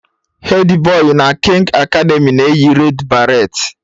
Hedi Boi na kings academy na-eyi red baret